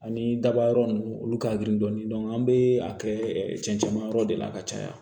Ani daba yɔrɔ ninnu olu ka girin dɔɔnin an bɛ a kɛ cɛncɛnmayɔrɔ de la ka caya